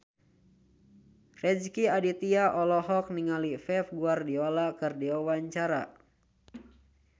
Rezky Aditya olohok ningali Pep Guardiola keur diwawancara